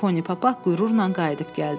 Poni papaq qürurla qayıdıb gəldi.